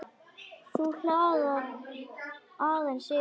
Þá glaðnar aðeins yfir henni.